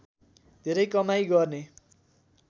धेरै कमाइ गर्ने